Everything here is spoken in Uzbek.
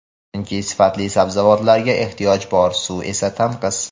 Chunki sifatli sabzavotlarga ehtiyoj bor, suv esa tanqis.